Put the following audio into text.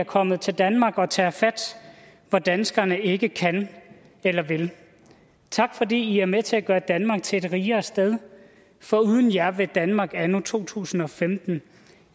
kommet til danmark og tager fat hvor danskerne ikke kan eller vil tak fordi i er med til at gøre danmark til et rigere sted for uden jer ville danmark anno to tusind og femten